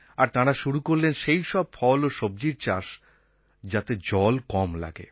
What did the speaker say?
আর তাঁরা শুরু করলেন সেইসব ফল ও সবজির চাষ যাতে জল কম লাগে